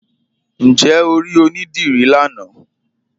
Ǹjẹ́ o ri onídírí lánà?